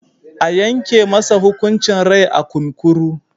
A yanke masa hukuncin rai a kunkuru.